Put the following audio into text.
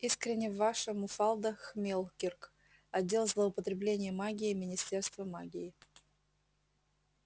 искренне ваша муфалда хмелкирк отдел злоупотребления магией министерство магии